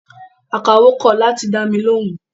Akawó kọ̀ láti dámi lóhùn